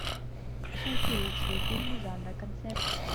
найти лучшие фильмы жанра концерт